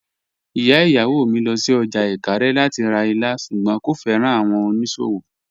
Ìyà ìyáwó mí lọ sí ọ́jà Ìkàrè lati rá ìlà, ṣùgbọ́n kò fẹ́ran awọn onísòwò.